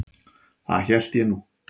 Það hélt ég nú.